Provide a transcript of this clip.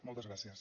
moltes gràcies